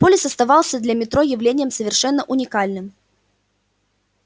полис оставался для метро явлением совершенно уникальным